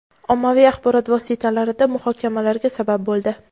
ommaviy axborot vositalarida muhokamalarga sabab bo‘ldi.